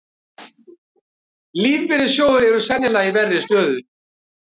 Lífeyrissjóðir eru sennilega í verri stöðu